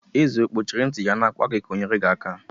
Eze kpuchiri itiku-gi ka i nyere gi aka?